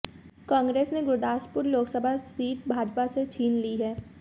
कांग्रेस ने गुरदासपुर लोकसभा सीट भाजपा से छीन ली है